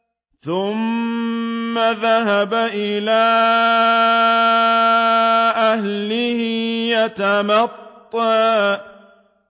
ثُمَّ ذَهَبَ إِلَىٰ أَهْلِهِ يَتَمَطَّىٰ